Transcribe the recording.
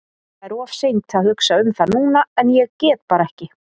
Það er of seint að hugsa um það núna en ég get bara ekki.